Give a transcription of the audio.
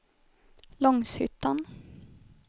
Långshyttan